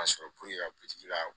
Ka sɔrɔ puruke ka ka